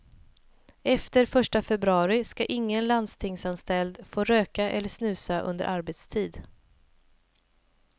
Efter första februari ska ingen landstingsanställd få röka eller snusa under arbetstid.